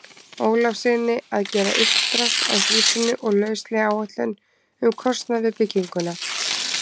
Ólafssyni að gera uppdrátt að húsinu og lauslega áætlun um kostnað við bygginguna.